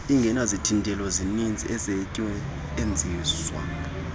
ingenazithintelo zininzi usetyuenziswa